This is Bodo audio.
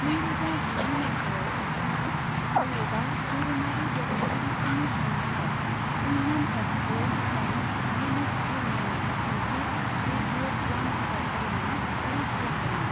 नैरोजा जिनै माइथायाव, बिथाङा भारतआव दोरोङारि देरहागिरिफोरनि सन्मानाव women of gold and men of steel मुङै मोनसे रेडिअ' उवान हाबाफारिनि फारि खालामदोंमोन।